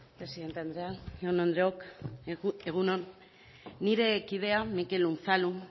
presidente andrea jaun andreok egun on nire kidea mikel unzalu